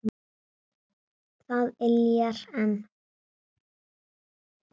Það yljar enn.